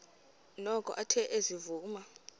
noko athe ezivuma